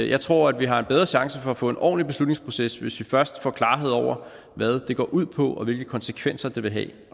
jeg tror at vi har en bedre chance for at få en ordentlig beslutningsproces hvis vi først får klarhed over hvad det går ud på og hvilke konsekvenser det vil have